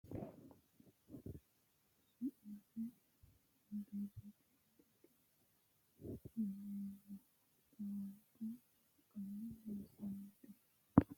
Tini lowo geeshsha baxisanote mittore iibbinore qiisittano gedenna miturichi foolesi soorranokki gede assittano mini uduunichoti su'mase firijete yineemmo, xawabbu wolqanni loossanote.